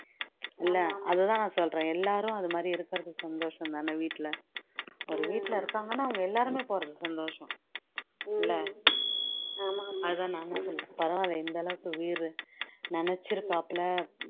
இல்ல அதுதான் நான் சொல்றேன் எல்லாரும் அதுமாதிரி இருக்குறது சந்தோஷம் தானே வீட்டில ஒரு வீட்டில இருக்காங்கன்னா அவங்க எல்லாருமே போறது சந்தோஷம் இல்ல அதுதான் நானும் சொல்றேன் பரவாயில்லை இந்த அளவுக்கு வீர் நெனச்சுருக்காப்ல